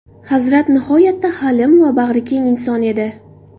Hazrat nihoyatda halim va bag‘rikeng inson edi.